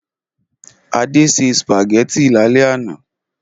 Adé se sùpàgẹ́tì lálẹ́ àná.